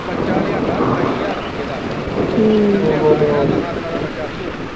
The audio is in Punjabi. ਉਹ ਬੱਚਾ ਲਿਆਂਦਾ ਅਠਾਈ ਹਜ਼ਾਰ ਰੁਪਈਏ ਦਾ ਜਿਦਣ ਲਿਆਂਦਾ ਸੀ ਨਾ ਦਸਾਂ ਦਿਨਾਂ ਦਾ ਬੱਚਾ ਸੀ ਉਹ